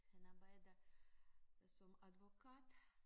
Han arbejder som advokat